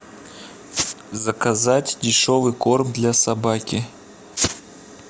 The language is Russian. заказать дешевый корм для собаки